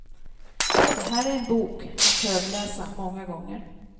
Det här är en bok att högläsa många gånger.